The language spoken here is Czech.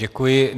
Děkuji.